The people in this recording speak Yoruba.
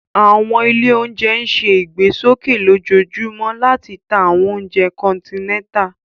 Awọn ile ounjẹ ǹ ṣe igbesoke lojoojumọ lati ta awọn ounjẹ kọntinẹta